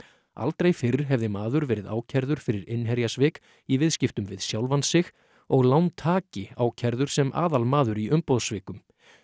aldrei fyrr hefði maður verið ákærður fyrir innherjasvik í viðskiptum við sjálfan sig og lántaki ákærður sem aðalmaður í umboðssvikum